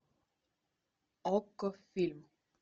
окко фильм